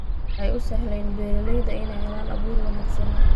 Waxay u sahleen beeralayda inay helaan abuur wanaagsan.